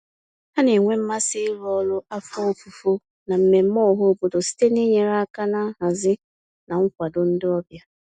Ha na-enwe mmasị iru ọrụ afọ ofufo na mmemme ọhaobodo site n'inyere aka na nhazi na nkwado ndị ọbịa.